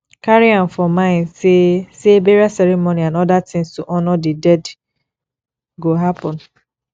carry am for mind sey sey burial ceremony and oda things to honour di dead go happen